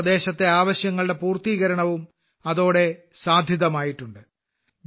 ആ പ്രദേശത്തെ ആവശ്യങ്ങളുടെ പൂർത്തീകരണവും അതോടെ സാധിതമായിട്ടുണ്ട്